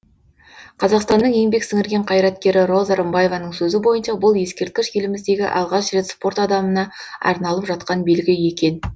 қазақстанның еңбек сіңірген қайраткері роза рымбаеваның сөзі бойынша бұл ескерткіш еліміздегі алғаш рет спорт адамына арналып жатқан белгі екен